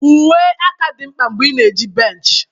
uwe aka dị mkpa mgbe ị na-eji bench.